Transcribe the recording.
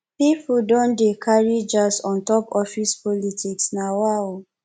pipo don dey carry jazz on top office politics nawaoo